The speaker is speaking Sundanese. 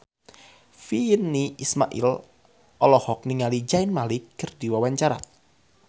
Virnie Ismail olohok ningali Zayn Malik keur diwawancara